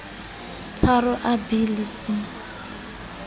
tharo a b le c